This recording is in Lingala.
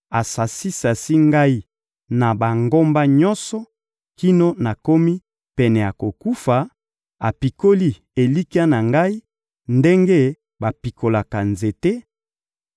asasi-sasi ngai na bangambo nyonso kino nakomi pene ya kokufa, apikoli elikya na ngai ndenge bapikolaka nzete;